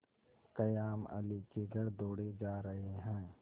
कायमअली के घर दौड़े जा रहे हैं